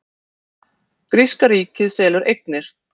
Gríska ríkið selur eignir